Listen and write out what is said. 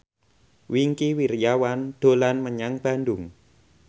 Wingky Wiryawan dolan menyang Bandung